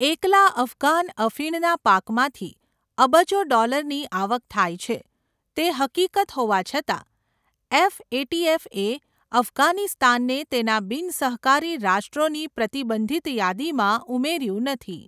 એકલા અફઘાન અફીણના પાકમાંથી અબજો ડોલરની આવક થાય છે તે હકીકત હોવા છતાં, એફએટીએફ એ અફઘાનિસ્તાનને તેના બિનસહકારી રાષ્ટ્રોની પ્રતિબંધિત યાદીમાં ઉમેર્યું નથી.